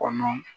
Kɔnɔ